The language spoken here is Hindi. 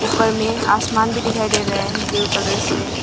ऊपर मे आसमान भी दिखाई दे रहा है ब्लू कलर से।